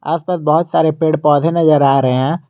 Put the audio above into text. आस पास बहोत सारे पेड़ पौधे नजर आ रहे हैं।